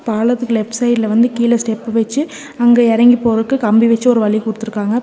பாலத்துக்கு லெஃப்ட் சைடுல வந்து கீழ ஸ்டெப் வெச்சு அங்க எறங்கி போறக்கு கம்பி வெச்சு ஒரு வழி குடுத்திருக்காங்க. பி--